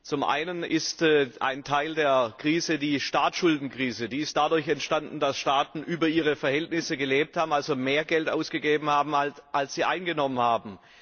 Zum einen ist ein Teil der Krise die Staatsschuldenkrise. Sie ist dadurch entstanden, dass Staaten über ihre Verhältnisse gelebt haben, also mehr Geld ausgegeben haben, als sie eingenommen haben.